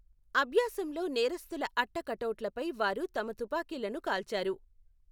అభ్యాసంలో నేరస్తుల అట్ట కటౌట్లపై వారు తమ తుపాకీలను కాల్చారు.